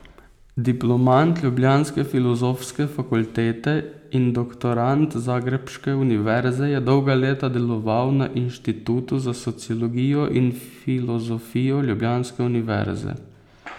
Diplomant ljubljanske Filozofske fakultete in doktorant zagrebške univerze je dolga leta deloval na Inštitutu za sociologijo in filozofijo ljubljanske univerze.